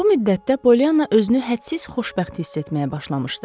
Bu müddətdə Polyanna özünü hədsiz xoşbəxt hiss etməyə başlamışdı.